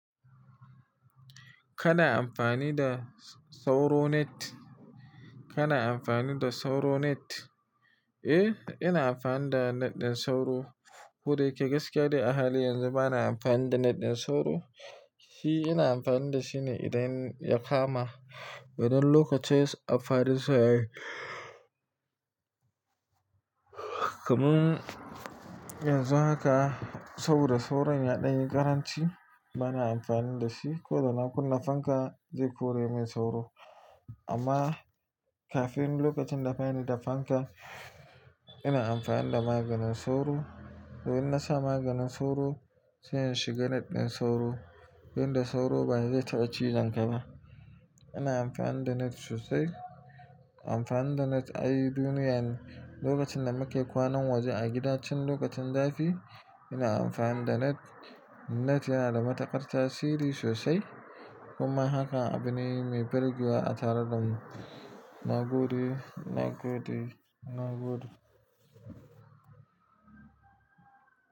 Kana amfani da sauro net? Kana amfani da sauro net? Eh, ina amfani da net ɗin sauro. Ko da yake gaskiya dai a halin yanzu bana amfani da net ɗin sauro. Shi ina amfani da shi ne idan ya kama. Wadannan lokacin amfani sa yayi kamar yanzu haka sabo da sauron ya ɗan yi ƙaranci bana amfani da shi. Ko da na kunna fanka, zai kore min sauro. Amma kafin lokacin da nafara amfani da fanka, ina amfani da maganin sauro. Domin na sa maganin sauro sai in shiga net ɗin sauro. Indai da sauro ba zai taɓa cizon ka ba. Ina amfani da net sosai. Amfani da net ai duniya ne lokacin da muke kwanan waje a gidajen lokacin zafi ina amfani da net. Net yana da matukar tasiri sosai. Kuma haka abu ne mai burgewa a tare da ni na gode, na gode, na gode.